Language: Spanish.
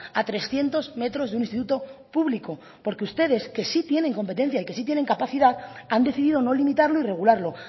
a trescientos metros de un instituto público porque ustedes que sí tienen competencia y que sí tienen capacidad han decidido no limitarlo y regularlo